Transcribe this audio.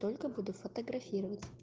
только буду фотографировать